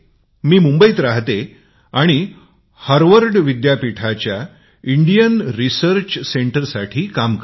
मी मुंबईत राहते हार्वर्ड विद्यापीठाच्या भारतीय संशोधन केंद्रासाठी काम करते